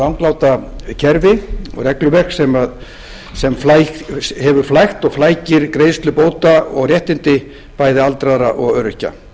rangláta kerfi og regluverk sem hefur flækt og flækir greiðslu bóta og réttindi bæði aldraðra og öryrkja